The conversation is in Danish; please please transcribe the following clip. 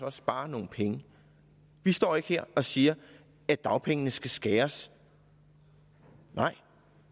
også spare nogle penge vi står ikke her og siger at dagpengene skal skæres nej